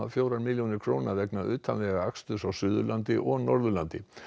fjórar milljónir króna vegna utanvegaaksturs á Suðurlandi og Norðurlandi